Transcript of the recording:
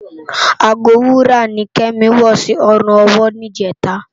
Àgó wúrá ni Kemi wò si òrún òwò nijètá